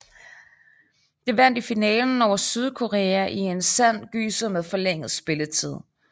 Det vandt i finalen over Sydkorea i en sand gyser med forlænget spilletid